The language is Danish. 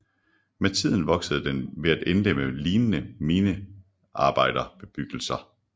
Med tiden voksede den ved at indlemme lignende minearbejderbebyggelser